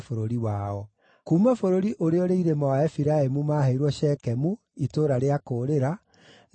Kuuma bũrũri ũrĩa ũrĩ irĩma wa Efiraimu maaheirwo Shekemu (itũũra rĩa kũũrĩra), na Gezeri,